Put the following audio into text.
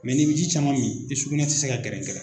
n'i bɛ ji caman min i sugunɛ tɛ se ka gɛrɛngɛrɛn.